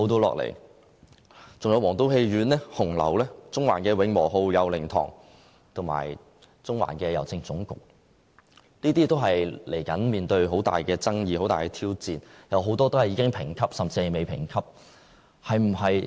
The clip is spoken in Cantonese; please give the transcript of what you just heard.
還有皇都戲院、紅樓、中環的"永和號"、佑寧堂，以及中環的郵政總局，這些接着也要面對很大的爭議，是很大的挑戰，有很多已經被評級，甚至未被評級。